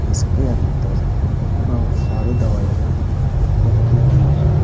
इसके अंदर बहुत सारी दवाईयां रखी हुई है।